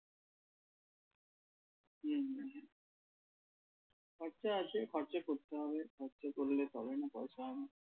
খরচা আছে খরচা করতে হবে খরচা করলে তবেই না পয়সা হবে।